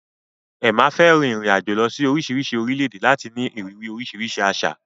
Emma fẹ́ rin ìrìn-àjò lọ sí oríṣiríṣi orílẹ̀-èdè láti ní ìrírí oríṣiríṣi àṣà.